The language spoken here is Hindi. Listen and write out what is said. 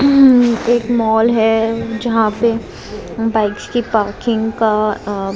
एक मॉल है जहां पे बाइक्स की पार्किंग का--